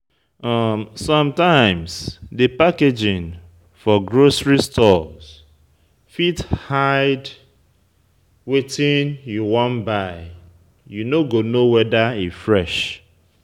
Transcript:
Sometimes, di packaging for grocery stores fit hide wetin you wan buy you no go know weda e fresh